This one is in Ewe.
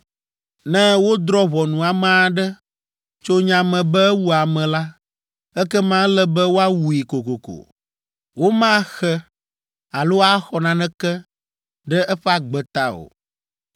“ ‘Ne wodrɔ̃ ʋɔnu ame aɖe, tso nya me be ewu ame la, ekema ele be woawui kokoko. Womaxe alo axɔ naneke ɖe eƒe agbe ta o.